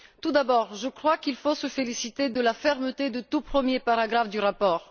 Tout d'abord, je crois qu'il faut se féliciter de la fermeté du tout premier paragraphe du rapport.